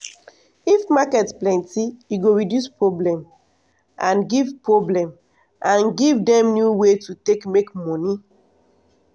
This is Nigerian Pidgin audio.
to put um beta um irrigation system go help save water and make crop do well